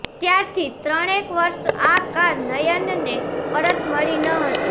ત્યારથી ત્રણેક વર્ષ આ કાર નયનને પરત મળી ન હતી